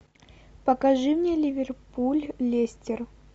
покажи мне ливерпуль лестер